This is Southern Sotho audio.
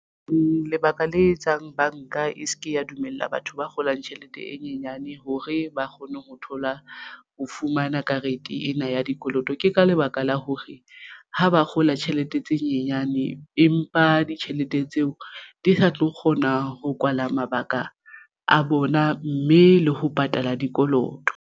Lebaka le etsang banka e se ke ya dumella batho ba kgolang tjhelete e nyenyane hore ba kgone ho thola ho fumana karete ena ya dikoloto ke ka lebaka la hore ho ba kgola tjhelete tse nyenyane empa ditjhelete tseo di sa tlo kgona ho kwala mabaka a bona, mme le ho patala dikoloto.